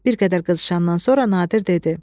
Bir qədər qızışandan sonra Nadir dedi: